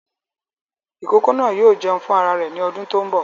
Ìkókó náà yóò jẹun fún ara rẹ̀ ní ọdún tó ń bọ̀